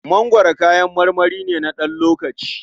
Mangwaro kayan marmari ne na ɗan lokaci.